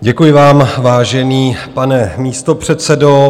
Děkuji vám, vážený pane místopředsedo.